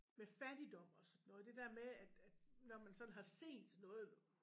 Med fattigdom og sådan noget det der med at at når man sådan har set noget